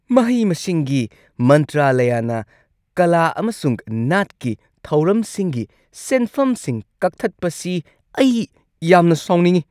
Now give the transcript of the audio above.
ꯃꯍꯩ-ꯃꯁꯤꯡꯒꯤ ꯃꯟꯇ꯭ꯔꯥꯂꯌꯅ ꯀꯂꯥ ꯑꯃꯁꯨꯡ ꯅꯥꯠꯀꯤ ꯊꯧꯔꯝꯁꯤꯡꯒꯤ ꯁꯦꯟꯐꯝꯁꯤꯡ ꯀꯛꯊꯠꯄꯁꯤ ꯑꯩ ꯌꯥꯝꯅ ꯁꯥꯎꯅꯤꯡꯉꯤ꯫